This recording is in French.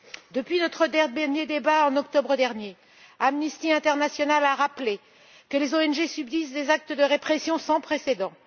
Depuis notre dernier débat en octobre dernier, Amnesty International a rappelé que les ONG subissaient des actes de répression sans précédent